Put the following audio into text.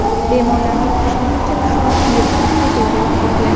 Bemorlarning uchdan ikki qismi virusni chet elda yuqtirgan.